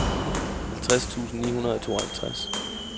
halvtreds tusind ni hundrede og tooghalvtreds